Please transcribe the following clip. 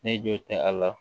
Ne jo tɛ a la